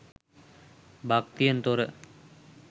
භක්තියෙන් තොර